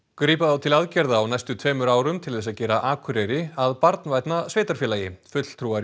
grípa á til aðgerða á næstu tveimur árum til þess að gera Akureyri að barnvænna sveitarfélagi fulltrúar í